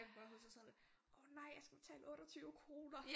Jeg kan bare huske og sådan åh nej jeg skal betale 28 kroner